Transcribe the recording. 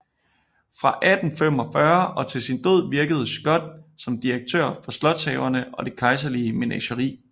Fra 1845 og til sin død virkede Schott som direktør for slotshaverne og det kejserlige menageri